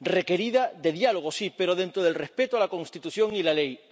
Requerida de diálogo, sí, pero dentro del respeto a la Constitución y a la ley.